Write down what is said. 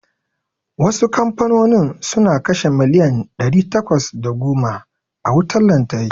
Wasu kamfanonin suna kashe miliyan ɗari takwas da goma a wutar lantarki.